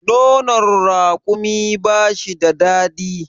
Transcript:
nono rakumi ba shi da dadi